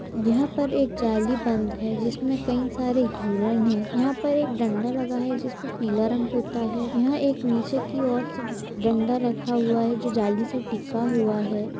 यहाँ पर एक जाली बंध है जिसमें कई सारे हिरण है यहाँ पर एक डंडा लगा है जिस पे पीला रंग पोता है यहाँ एक नीचे की ओर से डंडा रखा हुआ है जो जाली से टीका हुआ हैं।